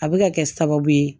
A bɛ ka kɛ sababu ye